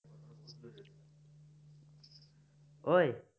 অই